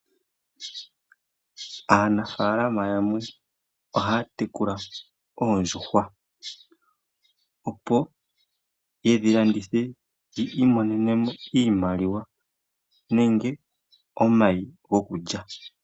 Aanafalama yamwe ohaya tekula oondjuhwa opo ye dhi landithe yi imonenemo iimaliwa nenge omayi gokulya.